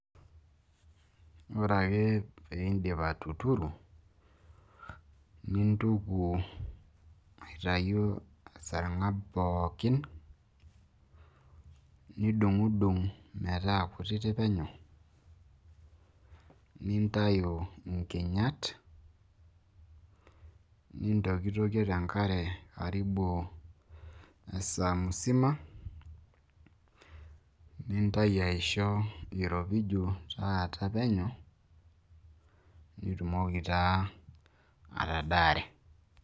Ore ake piindip atuturu nintuku aitayu esarng'ab pookin nidung'dung' metaa kutitik penyo nintayu nkinyat, nintokitokie te nkare karibu lisaa mzima, nintayu aisho iropiju taata penyo nitumoki taa atadare.